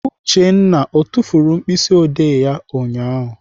Uchenna ọ tufuru mkpịsịodee ya ụnyaahụ?